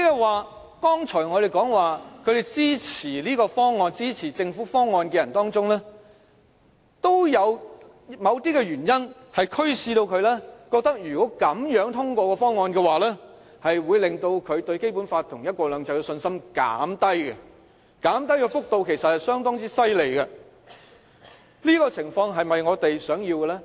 換言之，我們剛才說在支持政府方案的人中，都有某些原因驅使他們覺得如果這樣通過方案，會減低他們對《基本法》和"一國兩制"的信心，減低的幅度其實相當厲害，這種情況是否我們想要的？